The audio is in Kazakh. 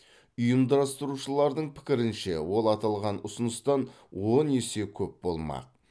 ұйымдастырушылардың пікірінше ол аталған ұсыныстан он есе көп болмақ